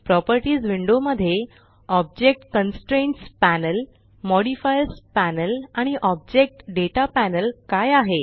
properties window मध्ये object constraints panel modifiers panel आणि object data panel काय आहे